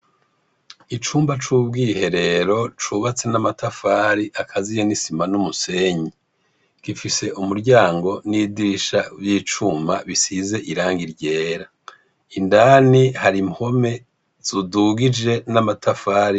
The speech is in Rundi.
Icumba c'ubwiherero cubatse n'amatafari akaziye n'isima n'umusenyi, gifise umuryango n'idirisha vy'icuma bisize irangi ryera, indani hari impome zidugije n'amatafari.